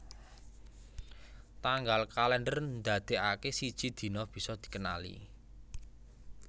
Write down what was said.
Tanggal kalèndher ndadèkaké siji dina bisa dikenali